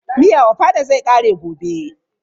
Miyan ofada zai ƙare gobe.